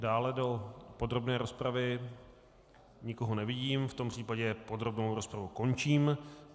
Dále do podrobné rozpravy nikoho nevidím, v tom případě podrobnou rozpravu končím.